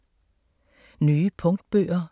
Nye punktbøger